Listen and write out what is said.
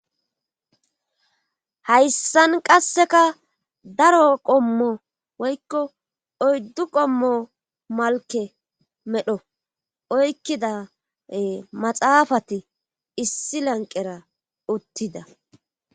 hayssan qasseka daro qommo woykko oyddu qommo malke medho oykkida maxaafati issi lanqera uttida